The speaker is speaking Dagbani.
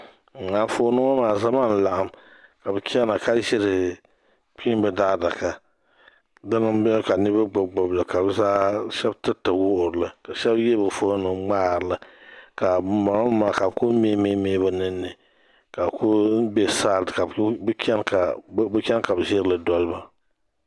Anfooni ŋɔ maa zama n laɣim ka bɛ chɛna ka ʒiri kpiimba daa adaka Dina n beni ka niriba gbibi gbibi li ka shɛba tiriti wuhirili ka yihiri bɛ foonima n ŋmaharili ka banboŋɔ nima ka bɛ kuli mihimihi bɛ ninni ka bɛ kuli be saadi ka bɛ chɛna ka bɛ ʒirili doliba.